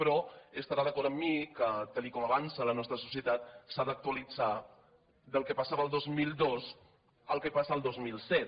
però estarà d’acord amb mi que tal com avança la nostra societat s’ha d’actualitzar el que passava el dos mil dos amb el que passa el dos mil set